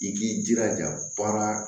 I k'i jilaja baara